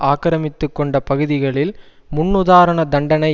ஆக்கிரமித்துக்கொண்ட பகுதிகளில் முன் உதாரண தண்டனை